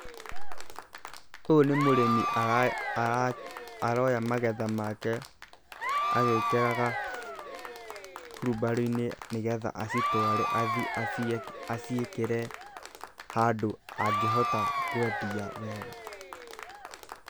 Ũyũ nĩ mũrĩmi aroya magetha make agĩkĩraga hurumbarũ-inĩ nĩ getha acitware athiĩ aciĩkĩre handũ angĩhota kwendia wega.